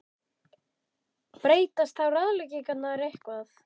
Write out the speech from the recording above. Breytast þá ráðleggingarnar eitthvað?